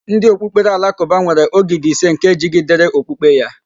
Ndị okpukpere Alakụba nwere ógìdì ise nke jigidere okpukpe ya.